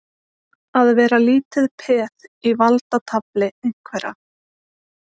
Að vera lítið peð í valdatafli einhverra